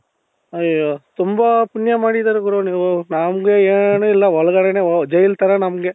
ಅಯ್ಯೋ ತುಂಬಾ ಪುಣ್ಯ ಮಾಡಿದಿರಾ ಗುರು ನೀವು ನಮಗೆ ಏನು ಇಲ್ಲ ಒಳಗಡೆನೆ ಜೈಲ್ ತರ ನಮಗೆ